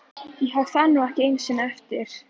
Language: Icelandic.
Ég hef það nú ekki einu sinni eftir